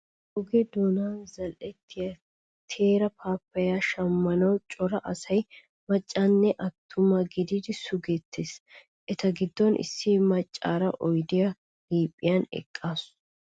Oge doonan zal"ettiya teera paappayyaa shammanawu cora asay macca nne attuma gididi sugettees. Eta giddoppe issi maccaara oydiya liiphiyan eqqaasu.